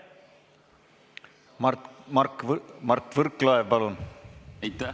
Mart Võrklaev, palun!